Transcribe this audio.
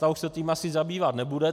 Ta už se tím asi zabývat nebude.